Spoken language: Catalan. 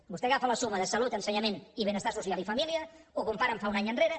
vostè agafa la suma de salut ensenyament i benestar social i família ho compara amb fa un any enrere